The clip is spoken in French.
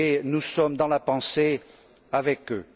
Nous sommes par la pensée avec eux.